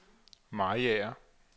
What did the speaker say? Mariager